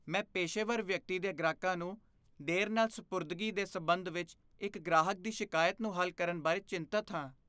ਮੈਂ ਪੇਸ਼ੇਵਰ ਵਿਅਕਤੀ ਦੇ ਗ੍ਰਾਹਕਾਂ ਨੂੰ ਦੇਰ ਨਾਲ ਸਪੁਰਦਗੀ ਦੇ ਸਬੰਧ ਵਿੱਚ ਇੱਕ ਗ੍ਰਾਹਕ ਦੀ ਸ਼ਿਕਾਇਤ ਨੂੰ ਹੱਲ ਕਰਨ ਬਾਰੇ ਚਿੰਤਤ ਹਾਂ।